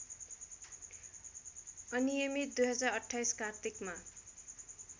अनियमित २०२८ कार्तिकमा